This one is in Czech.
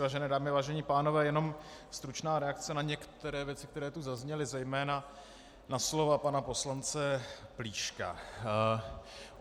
Vážené dámy, vážení pánové, jenom stručná reakce na některé věci, které tu zazněly, zejména na slova pana poslance Plíška.